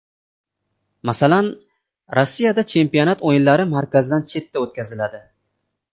Masalan, Rossiyada chempionat o‘yinlari markazdan chetda o‘tkaziladi.